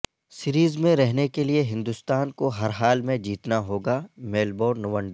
series میں رہنے کے لئے ہندوستان کو ہر حال میں جیتنا ہوگا میلبورن ون ڈے